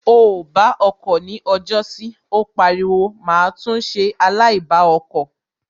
O ò bá ọkọ̀ ni ọjọ́sí Ó pariwo má tún ṣe aláìbá ọkọ̀